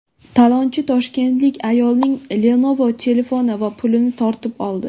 Talonchi toshkentlik ayolning Lenovo telefoni va pulini tortib oldi.